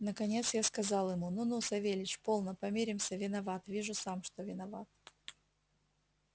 наконец я сказал ему ну ну савельич полно помиримся виноват вижу сам что виноват